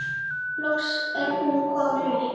Loks er hún komin upp.